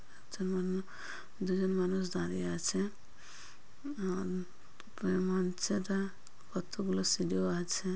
যেমন দুজন মানুষ দাঁড়িয়ে আছে। কতগুলো সিঁড়িও আছে।